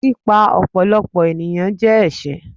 pípa ọ̀pọ̀lọpọ̀ ènìyàn jẹ ẹṣẹ